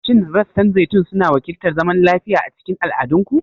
Shin rassan zaitun suna wakiltar zaman lafiya a cikin al'adunku?